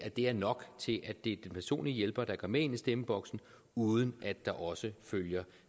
at det er nok til at det er personlige hjælper der går med ind i stemmeboksen uden at der også følger